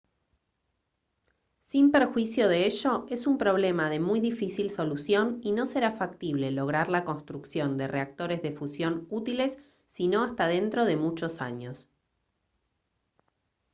sin perjuicio de ello es un problema de muy difícil solución y no será factible lograr la construcción de reactores de fusión útiles sino hasta dentro de muchos años